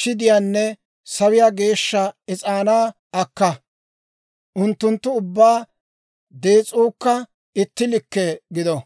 shidiyaanne sawiyaa geeshsha is'aanaa akka; unttunttu ubbaa dees'uukka itti likke gido.